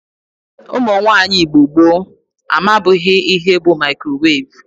Ụmụnwaanyi Igbo gboo amabughi ihe bu mikrowevu.